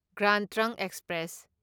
grand trunk express